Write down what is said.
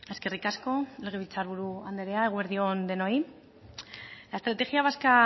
eskerrik asko legebiltzarburu anderea eguerdi on denoi la estrategia vasca